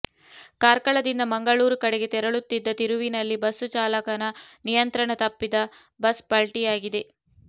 ಕಾರ್ಕಳದಿಂದ ಮಂಗಳೂರು ಕಡೆಗೆ ತೆರಳುತ್ತಿದ್ದ ತಿರುವಿನಲ್ಲಿ ಬಸ್ಸು ಚಾಲಕನ ನಿಯಂತ್ರಣ ತಪ್ಪಿದ ಬಸ್ ಪಲ್ಟಿಯಾಗಿದೆ